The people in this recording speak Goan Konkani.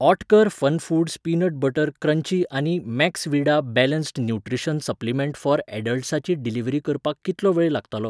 Oetker FunFoods peanut butter crunchy आनी Maxvida balanced nutrition supplement for ऍडल्ट्साची डिलिव्हरी करपाक कितलो वेळ लागतलो ?